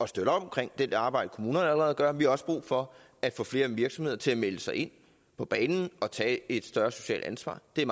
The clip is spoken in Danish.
støtte op omkring det arbejde kommunerne allerede gør og vi har også brug for at få flere virksomheder til at melde sig på banen og tage et større socialt ansvar det er